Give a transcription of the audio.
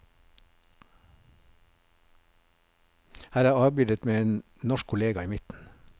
Her er de avbildet med en norsk kollega i midten.